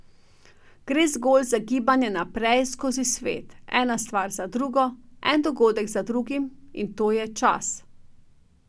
Gre zgolj za gibanje naprej skozi svet, ena stvar za drugo, en dogodek za drugim, in to je čas.